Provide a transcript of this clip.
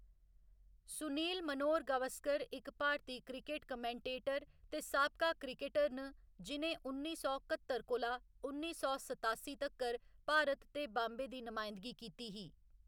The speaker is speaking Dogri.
सुनील मनोहर गावस्कर इक भारती क्रिकट कमेंटेटर ते साबका क्रिकटर न जि'नें उन्नी सौ कत्तर कोला उन्नी सौ सतासी तक्कर भारत ते बाम्बे दी नमायंदगी कीती ही।